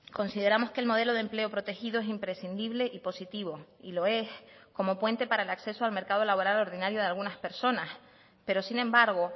consideramos que el modelo de empleo protegido es imprescindible y positivo y lo es como puente para el acceso al mercado laboral ordinario de algunas personas pero sin embargo